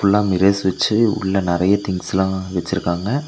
ஃபுல்லா மிரர்ஸ் வெச்சு உள்ள நெறைய திங்ஸ்லா வெச்சிருக்காங்க.